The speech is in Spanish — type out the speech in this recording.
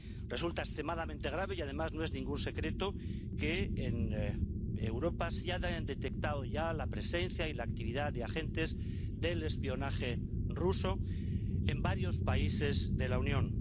Resulta extremadamente grave, y además no es ningún secreto, que en Europa se haya detectado ya la presencia y la actividad de agentes del espionaje ruso en varios países de la Unión.